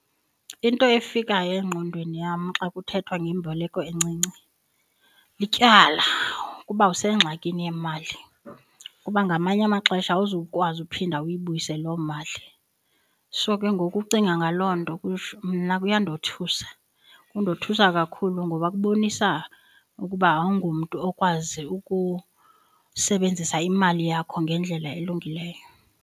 Into efikayo engqondweni yam xa kuthethwa ngemboleko encinci, lityala. Kuba usengxakini yemali kuba ngamanye amaxesha awuzukwazi uphinda uyibuyise loo mali. So ke ngoku ukucinga ngaloo nto mna kuyandothusa, kundothusa kakhulu ngoba kubonisa ukuba awungomntu okwazi ukusebenzisa imali yakho ngendlela elungileyo.